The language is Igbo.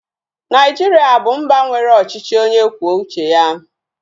Naijiria bụ mba nwere ọchịchị onye kwuo uche ya